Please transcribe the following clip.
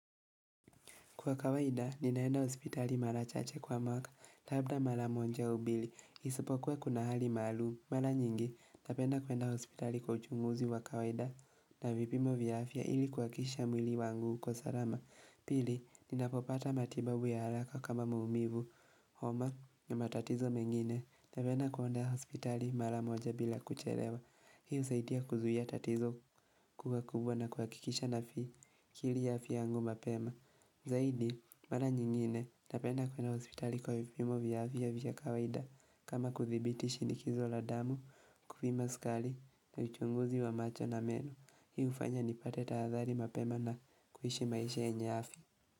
Kwa kawaida, ninaenda hospitali mara chache kwa mwaka, labda mara moja au mbili. Isipokuwa kuna hali maalumu. Mara nyingi, napenda kuenda hospitali kwa uchunguzi wa kawaida na vipimo vya afya ili kuakikisha mwili wangu uko salama. Pili, ninapopata matibabu ya haraka kama muumivu. Homa, na matatizo mengine, napenda kuenda hospitali mara moja bila kucherewa. Hi husaidia kuzuhia tatizo kuwa kubwa na kuakikisha na akili ya afya yangu mapema. Zaidi, mara nyingine napenda kuenda hospitali kwa vipimo vya afya vya kawaida kama kudhibiti shinikizo la damu, kupima sukali na uchunguzi wa macho na meno Hi hufanya nipate tahadhari mapema na kuhishi maisha yenye afya.